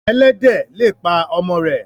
Ẹlẹ́dẹ̀ le pa ọmọ rẹ̀.